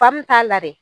Fan min t'a la dɛ